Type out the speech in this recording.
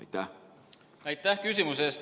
Aitäh küsimuse eest!